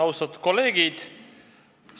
Austatud kolleegid!